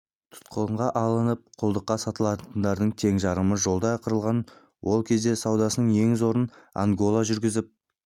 тұтқынға алынып құлдыққа сатылатындардың тең жарымы жолда қырылған ол кезде саудасының ең зорын ангола жүргізіп